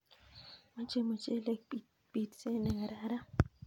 Mache muchelek pitset ne kararan